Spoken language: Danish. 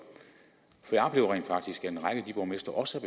jeg oplever rent faktisk at en række af de borgmestre også